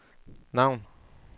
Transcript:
navn